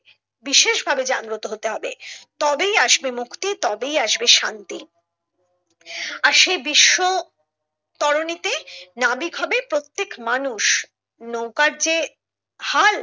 বিশেষ ভাবে জাগ্রত হতে হবে তবেই আসবে মুক্তি তবেই আসবে শান্তি আর সেই বিশ্ব তরণীতে নাবিক হবে প্রত্যেক মানুষ নৌকার যে হাল